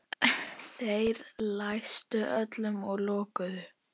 Þeir læstu öllu og lokuðu.